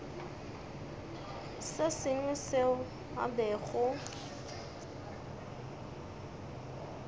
se sengwe seo a bego